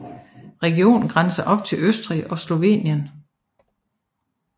Regionen grænser op til Østrig og Slovenien